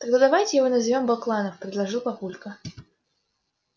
тогда давайте его назовём бакланов предложил папулька